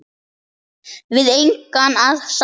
Við engan að sakast